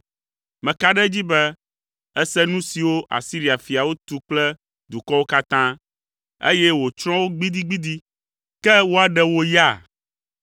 Meka ɖe edzi be, èse nu siwo Asiria fiawo tu kple dukɔwo katã, eye wotsrɔ̃ wo gbidigbidi. Ke woaɖe wò ya?